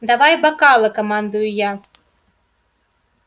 давай бокалы командую я